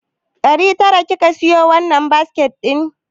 Ɗari tara kika siyo wannan biskit ɗin?